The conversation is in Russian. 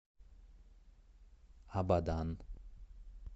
абадан